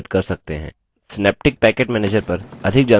synaptic package manager पर अधिक जानकारी के लिए